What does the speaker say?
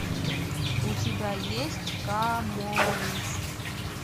у тебя есть каморрист